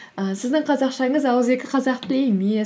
і сіздің қазақшаңыз ауызекі қазақ тілі емес